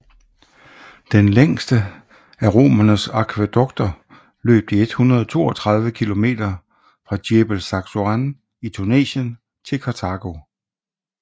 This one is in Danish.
Den længste af romernes akvædukter løb de 132 km fra Djebel Zaghouan i Tunesien til Karthago